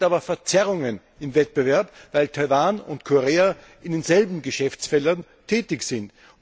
Das bewirkt aber Verzerrungen im Wettbewerb, weil Taiwan und Korea in denselben Geschäftsfeldern tätig sind.